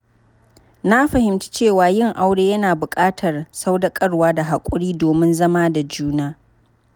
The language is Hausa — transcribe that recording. Na fahimci cewa yin aure yana buƙatar sadaukarwa da haƙuri domin zama da juna.